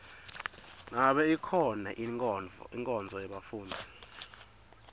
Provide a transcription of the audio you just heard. ngabe ikhona inkonzo yebafundzi